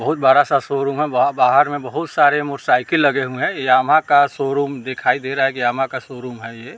बहुत बड़ा सा शोरूम है वहाँ बाहर में बहुत सारे मोटरसाइकिल लगे हुए हैं यामहा का शोरूम दिखाई दे रहा है की यामहा का शोरूम है ये।